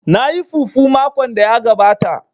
Na yi fufu makon da ya gabata